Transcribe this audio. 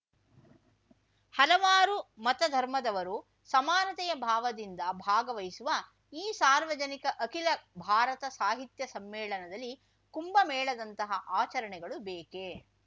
ಹಲವಾರು ಮತಧರ್ಮದವರು ಸಮಾನತೆಯ ಭಾವದಿಂದ ಭಾಗವಹಿಸುವ ಈ ಸಾರ್ವಜನಿಕ ಅಖಿಲ ಭಾರತ ಸಾಹಿತ್ಯ ಸಮ್ಮೇಳನದಲ್ಲಿ ಕುಂಭ ಮೇಳದಂತಹ ಆಚರಣೆಗಳು ಬೇಕೇ